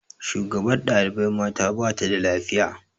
Shugabar ɗaibai mata bata da lafiya